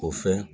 O fɛ